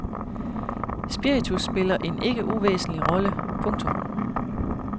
Spiritus spiller en ikke uvæsentlig rolle. punktum